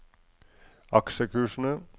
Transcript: aksjekursene